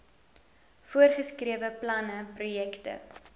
voorgeskrewe planne projekte